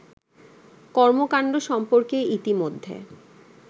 কর্মকাণ্ড সম্পর্কে ইতিমধ্যে